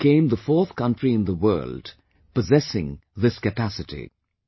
India became the fourth country in the world, possessing this capacity